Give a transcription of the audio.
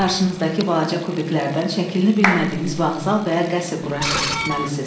Qarşınızdakı balaca kubiklərdən şəklini bilmədiyiniz vağzal və ya qəsr qurub tikməlisiniz.